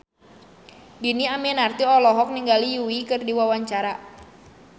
Dhini Aminarti olohok ningali Yui keur diwawancara